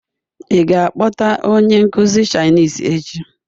Ị ga-akpọta onye nkuzi Chinese echi?